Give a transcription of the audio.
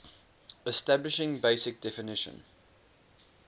establishing basic definition